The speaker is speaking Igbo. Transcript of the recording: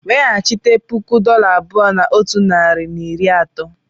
Weghachite puku dollar abụọ na otu narị na iri atọ.